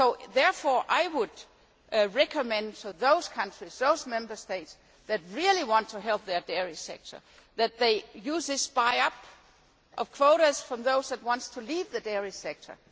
Therefore, I would recommend to those countries, those Member States, who really want to help their dairy sector that they use this buy up of quotas from those who want to leave the dairy sector.